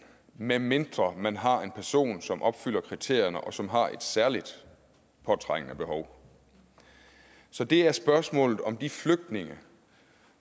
medmindre man har en person som opfylder kriterierne og som har et særligt påtrængende behov så det er spørgsmålet om de flygtninge